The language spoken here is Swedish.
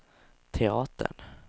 teatern